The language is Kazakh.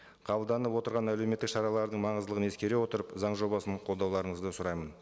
қабылданып отырған әлеуметтік шаралардың маңыздылығын ескере отырып заң жобасын қолдауларыңызды сұраймын